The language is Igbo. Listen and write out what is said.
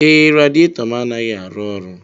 Ee, radiator m anaghị arụ ọrụ.